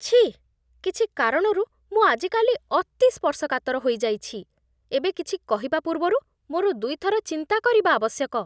ଛିଃ, କିଛି କାରଣରୁ, ମୁଁ ଆଜିକାଲି ଅତି ସ୍ପର୍ଶକାତର ହୋଇଯାଇଛି, ଏବେ କିଛି କହିବା ପୂର୍ବରୁ ମୋର ଦୁଇଥର ଚିନ୍ତା କରିବା ଆବଶ୍ୟକ ।